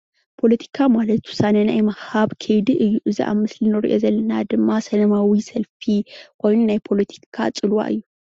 ፖለቲካ ማለት ውሳነ ናይ ምሃብ ኸይዲ እዩ እዚ ኣብ ምስሊ ንሪኦ ዘለና ድማ ሰለማዊ ሰልፊ ኾይኑ ናይ ፖለቲካ ፅልዋ እዩ።